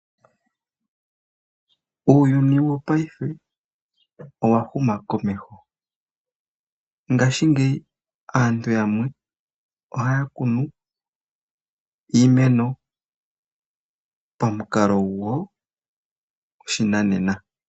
Uuyuni wopaife owa huma komeho. Ngashingeyi aantu yamwe ohaya kunu iimeno pamukalo goshinanena.